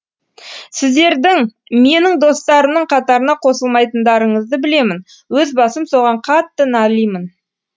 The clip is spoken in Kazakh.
сіздердің менің достарымның қатарына қосылмайтындарыңызды білемін өз басым соған қатты налимын